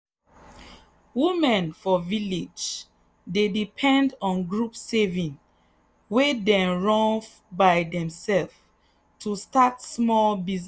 women for village dey depend on group saving wey dem run by themselves to start small business.